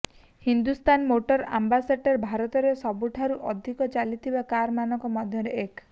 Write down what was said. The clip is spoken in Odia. ହିନ୍ଦୁସ୍ତାନ ମୋଟର ଆମ୍ବାସେଡ଼ର ଭାରତରେ ସବୁଠାରୁ ଅଧିକ ଚାଲିଥିବା କାର ମାନଙ୍କ ମଧ୍ୟରେ ଏକ